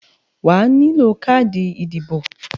Wàá nílò káàdì ìdìbò